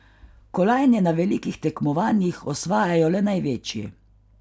Kolajne na velikih tekmovanjih osvajajo le največji.